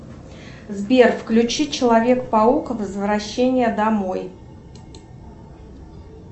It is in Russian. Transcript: сбер включи человек паук возвращение домой